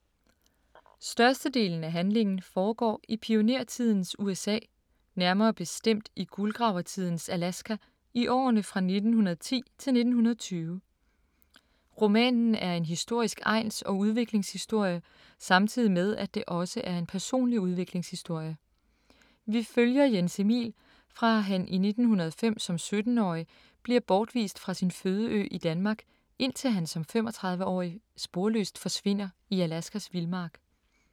Størstedelen af handlingen foregår i pionertidens USA, nærmere bestemt i guldgravertidens Alaska i årene fra 1910 til 1920. Romanen er en historisk egns-og udviklingshistorie, samtidig med at det også er en personlig udviklingshistorie. Vi følger Jens Emil fra han i 1905 som 17-årig bliver bortvist fra sin fødeø i Danmark, indtil han som 35-årig sporløst forsvinder i Alaskas Vildmark.